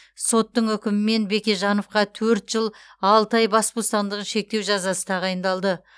соттың үкімімен бекежановқа төрт жыл алты ай бас бостандығын шектеу жазасы тағайындалды